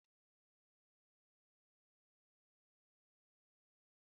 Okporoko na ewepụta ụtọ dị iche na nri